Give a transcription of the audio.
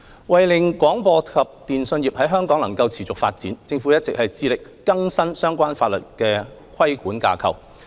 為了令廣播及電訊業在香港能持續發展，政府一直致力更新相關法律的規管架構。